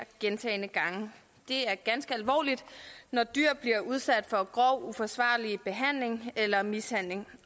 gentagne gange det er ganske alvorligt når dyr bliver udsat for grov uforsvarlig behandling eller mishandling